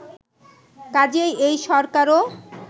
কাজেই এই সরকারও